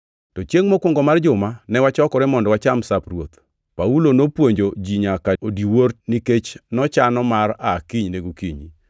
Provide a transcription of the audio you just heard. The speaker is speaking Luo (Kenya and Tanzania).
To Chiengʼ mokwongo mar juma ne wachokore mondo wacham Sap Ruoth. Paulo nopuonjo ji nyaka odiwuor nikech nochano mar aa kinyne gokinyi.